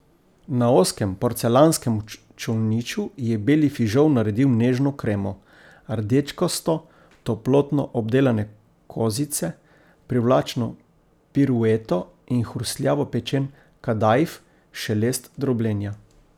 Na ozkem porcelanskem čolniču je beli fižol naredil nežno kremo, rdečkasto toplotno obdelane kozice privlačno pirueto in hrustljavo pečen kadaif šelest drobljenja.